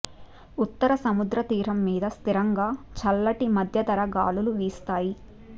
ఉత్తర సముద్ర తీరం మీద స్థిరంగా చల్లటి మధ్యధరా గాలులు వీస్తాయి